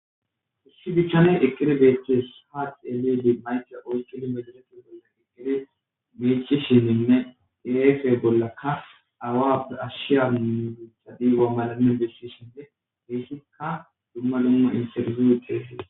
Issi dichchaney ekire deeththees haat elidi maycra oys kilo meda detin bolla geggede meeche shininne defe bollaka awad ashshiya mdiitha diiwa malanen dessishende miissikka dumma luma interzi teesees.